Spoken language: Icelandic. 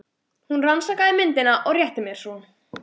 Hún rannsakaði myndina og rétti mér svo.